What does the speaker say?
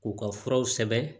K'u ka furaw sɛbɛn